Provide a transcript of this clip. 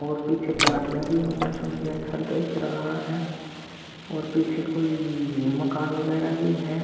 और पीछे पहाड़िया भी हो मौसम भी अच्छा दिख रहा है और पीछे कोई मकान वगैरा भी है।